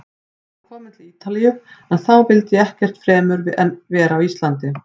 Ég var kominn til Ítalíu- en þá vildi ég ekkert fremur en vera á Íslandi.